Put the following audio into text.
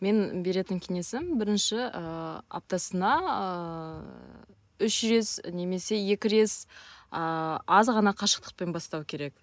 мен беретін кеңесім бірінші ііі аптасына ііі үш немесе екі ыыы аз ғана қашықтықпен бастау керек